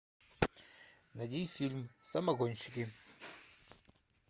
найди фильм самогонщики